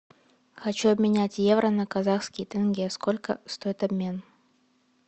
хочу обменять евро на казахский тенге сколько стоит обмен